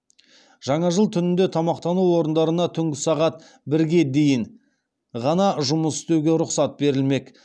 жаңа жыл түнінде тамақтану орындарына түнгі сағат бірге дейін ғана жұмыс істеуге рұқсат берілмек